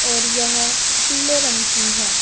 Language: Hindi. और यह पीले रंग की है।